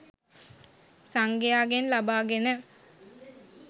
සංඝයාගෙන් ලබාගෙන